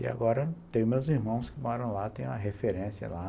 E agora tenho meus irmãos que moram lá, tenho a referência lá.